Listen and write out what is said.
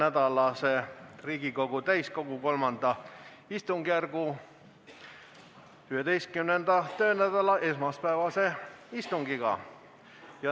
Alustame Riigikogu täiskogu III istungjärgu 11. töönädala esmaspäevast istungit.